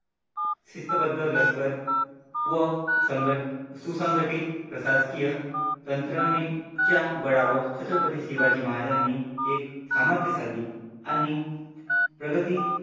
शिस्तबद्ध लष्कर व संगत संगटीत प्रशासकीय तंत्रनीच्या बळावर छत्रपती शिवाजी महाराजांनी एक सामर्थ्यशाली आणि प्रगती